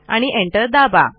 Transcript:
आणि एंटर दाबा